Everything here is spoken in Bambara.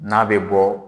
N'a bɛ bɔ